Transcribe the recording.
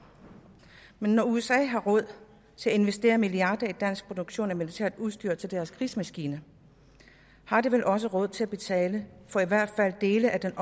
men når usa har råd til at investere milliarder i dansk produktion af militært udstyr til deres krigsmaskine har de vel også råd til at betale for i hvert fald dele af